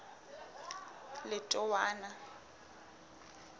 letowana